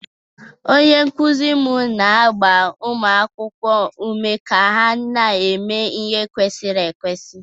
Onye nkụzi m na-agba ụmụ akwụkwọ ume ka ha na-eme ihe kwesiri ekwesị.